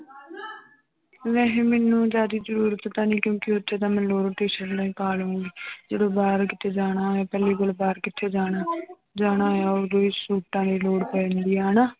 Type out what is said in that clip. ਨਹੀਂ ਮੈਨੂੰ ਜ਼ਿਆਦੇ ਜ਼ਰੂਰਤ ਤਾਂ ਨਹੀਂ ਕਿਉਂਕਿ ਉੱਥੇ ਤਾਂ ਮੈਂ ਲੋਅਰ ਟੀਸਰਟਾਂ ਹੀ ਪਾ ਲਊਂਗੀ ਜਦੋਂ ਬਾਹਰ ਕਿਤੇ ਜਾਣਾ ਹੋਵੇ ਪਹਿਲੀ ਗੱਲ ਬਾਹਰ ਕਿੱਥੇ ਜਾਣਾ ਜਾਣਾ ਹੈ ਉਦੋਂ ਹੀ ਸੂਟਾਂ ਦੀ ਲੋੜ ਪੈਂਦੀ ਹੈ ਹਨਾ।